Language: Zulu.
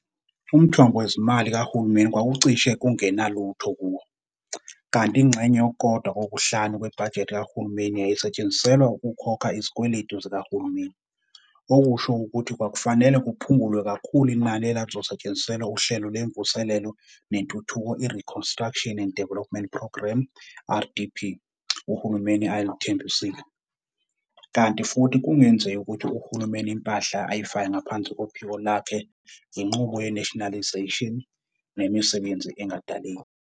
Umthombo wezimali kahulumeni kwakucishe kungenalutho kuwo, kanti ingxenye yokukodwa-kokuhlanu kwebhajethi kahulumeni yayisetshenziselwa ukhokha izikweledu zikahulumeni, okusho ukuthi kwakufanele kuphungulwe kakhulu inani elalizosetshenziselwa uhlelo lwemvuselelo nentuthuko i-Reconstruction and Development Programme, RDP, uhulumeni ayeluthembisile, kanti futhi kungenzeki ukuthi uhulumeni impahla ayifake ngaphansi kophiko lwakhe ngenqubo ye-nationalisation, nemisebenzi ingadaleki.